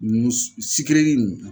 Mun sikireri in